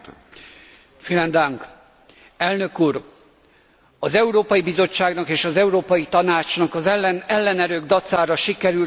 Elnök úr, az Európai Bizottságnak és az Európai Tanácsnak az ellenerők dacára sikerült megőriznie az Unió egységét.